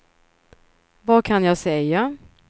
vad kan jag säga